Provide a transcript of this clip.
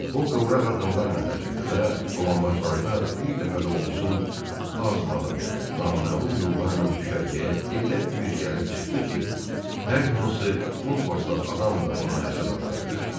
O qıvrağ addımlarla qaçırdı və dolanbaclarda bir dəfə də olsun azmadan naməlum yollarla düşərgəyə elə düz gəlib çıxdı ki, hər hansı kompaslı adam da ona həsəd aparardı.